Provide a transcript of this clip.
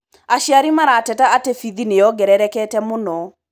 Aciari marateta atĩ bithi nĩyongererekete mũno.